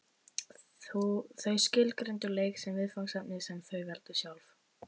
Þau skilgreindu leik sem viðfangsefni sem þau veldu sjálf.